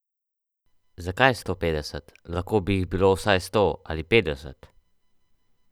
Zakaj sto petdeset, lahko bi jih bilo vsaj sto ali petdeset?